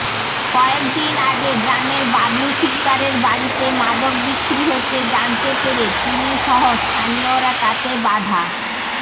কয়েকদিন আগে গ্রামের বাবলু শিকদারের বাড়িতে মাদক বিক্রি হচ্ছে জানতে পেরে তিনিসহ স্থানীয়রা তাতে বাধা